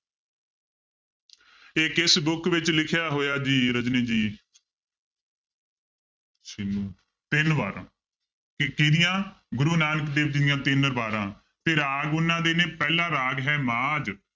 ਇਹ ਕਿਸ book ਵਿੱਚ ਲਿਖਿਆ ਹੋਇਆ ਜੀ ਰਜਨੀ ਜੀ ਤਿੰਨ ਵਾਰਾਂ ਕ~ ਕਿਹਦੀਆਂ ਗੁਰੂ ਨਾਨਕ ਦੇਵ ਜੀ ਦੀਆਂ ਤਿੰਨ ਵਾਰਾਂ ਤੇ ਰਾਗ ਉਹਨਾਂ ਦੇ ਨੇ ਪਹਿਲਾ ਰਾਗ ਹੈ ਮਾਝ